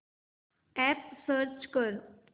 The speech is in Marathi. अॅप सर्च कर